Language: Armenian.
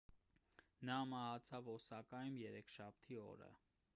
նա մահացավ օսակայում երեքշաբթի օրը